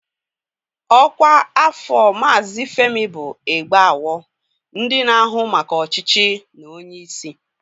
Ọkwa afọ Maazị Femi bụ Egbeawo, ndị na-ahụ maka ọchịchị na onye isi.